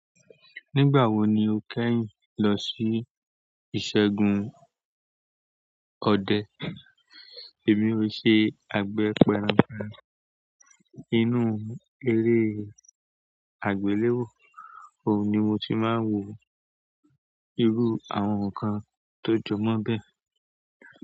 Nígbà wo ni o kẹ́yìn lọ sí ìṣẹ́gun ọdẹ? Èmi o ṣe àgbé pẹran kan nínú eré àgbéléwò, òhun ni mo ti máa ń wo irú àwọn nǹkan tó jọ mọ́ bẹ̀.